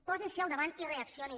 posin s’hi al davant i reaccionin